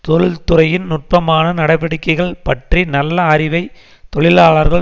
தொழில்துறையின் நுட்பமான நடவடிக்கைகள் பற்றி நல்ல அறிவை தொழிலாளர்கள்